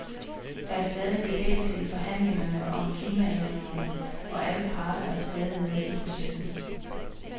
Der er stadig bevægelse i forhandlingerne om klimaændringerne og alle parter er stadig med i processen.